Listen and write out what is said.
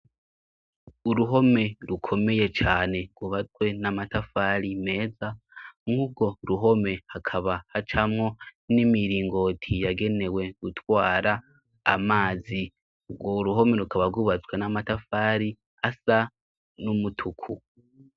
Uruhome rukomeye cane rwubatwe n'amatafari meza mwugo ruhome hakaba hacamwo n'imiringoti yagenewe gutwara amazi, urwo uruhome rukaba rwubatswe n'amatafari asa n'umutuku.